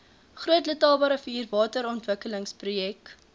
groot letabarivier waterontwikkelingsprojek